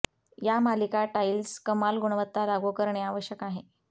या मालिका टाइल्स कमाल गुणवत्ता लागू करणे आवश्यक आहे